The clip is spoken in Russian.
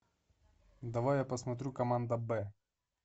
давай я посмотрю команда б